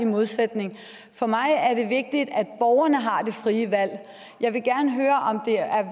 modsætning for mig er det vigtigt at borgerne har det frie valg jeg vil gerne høre om det er